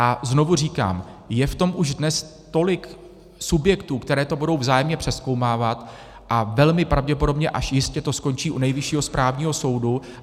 A znovu říkám, je v tom už dnes tolik subjektů, které to budou vzájemně přezkoumávat, a velmi pravděpodobně až jistě to skončí u Nejvyššího správního soudu.